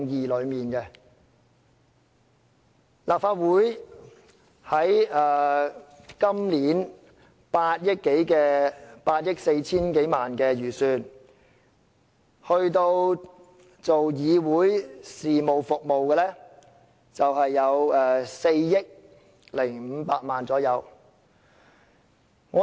立法會今年8億 4,000 萬多元的預算開支中，有關議會事務服務的是大約4億500萬元。